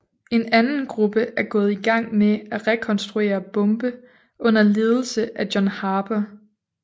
En anden gruppe er gået i gang med at rekonstruere bombe under ledelse af John Harper